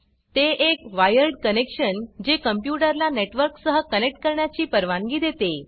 ते एक wired connection जे कॉम्प्यूटर ला नेटवर्क सह कनेक्ट करण्याची परवानगी देते